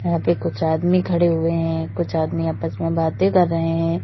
यहाँ पे कुछ आदमी खड़े हुए हैं कुछ आदमी आपस में बातें कर रहे हैं।